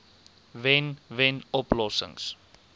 wen wen oplossings